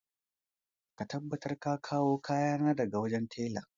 Ka tabbatar ka kawo kayana daga wajen tela!